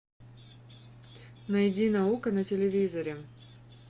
найди наука на телевизоре